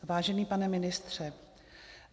Vážený pane ministře.